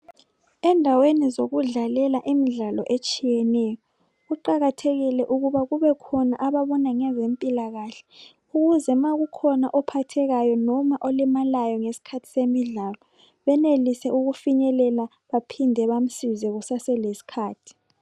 Endaweni zokudlalela imidlalo etshiyeneyo kuqakathekile ukuba kube khona ababona ngezempilakahle ukuze nxa kukhona ophathekayo loba olimalayo ngesikhathi semidlalo, benelise ukufinyelela baphinde bamsize ngesikhathi.